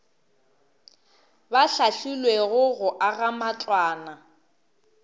ba hlahlilwego go aga matlwana